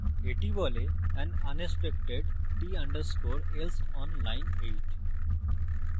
এটি বলে an unexpected t _ else on line 8